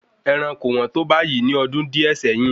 Ẹran kò wọ́n tó báyìí ní ọdún díè sẹ́yìn